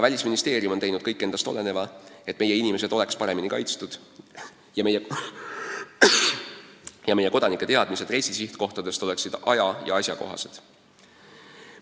Välisministeerium on teinud kõik endast oleneva, et meie inimesed oleks paremini kaitstud ning meie kodanike teadmised reisisihtkohtadest oleksid aja- ja asjakohased.